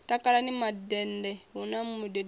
takalani mandende hu na mudededzi